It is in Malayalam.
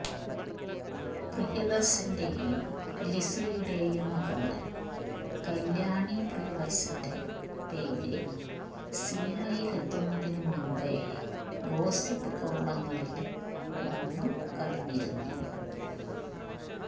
പ്രിയദര്ശന്റെയും ലിസിയുടെയും മകള് കല്യാണി പ്രിയദര്ശന്റെ പേര് സിനിമയില് എത്തുന്നതിന് മുന്പേ ഗോസിപ്പ് കോളങ്ങളില് വന്ന് കഴിഞ്ഞിരുന്നു